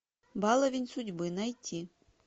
баловень судьбы найти